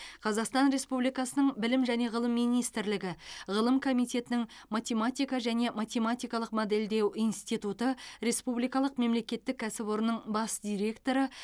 қазақстан республикасының білім және ғылым министрлігі ғылым комитетінің математика және математикалық модельдеу институты республикалық мемлекеттік кәсіпорнының бас директоры